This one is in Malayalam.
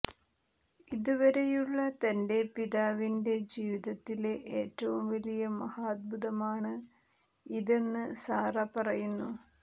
ഇതുവരെയുള്ള തന്റെ പിതാവിന്റെ ജീവിതത്തിലെ ഏറ്റവും വലിയ മഹാത്ഭുമാണ് ഇതെന്ന് സാറ പറയുന്നു